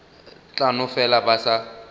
tla no fela ba sa